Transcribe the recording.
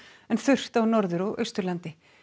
en þurrt á Norður og Austurlandi